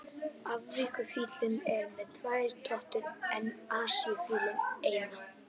Afríkufíllinn er með tvær totur en Asíufíllinn eina.